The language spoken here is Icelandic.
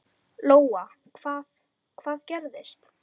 Lóa: Hvað, hvað gerðist?